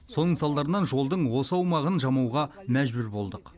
соның салдарынан жолдың осы аумағын жамауға мәжбүр болдық